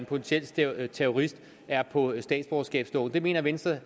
potentiel terrorist er på statsborgerskabsloven det mener venstre